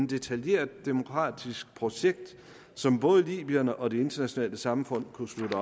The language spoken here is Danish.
detaljeret demokratisk projekt som både libyerne og det internationale samfund kunne slutte